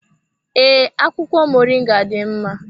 Ee, akwụkwọ moringa dị mma.